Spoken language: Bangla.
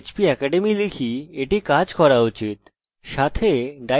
সাথে আমরা এই বা die বৈশিষ্ট্য ব্যবহার করতে পারি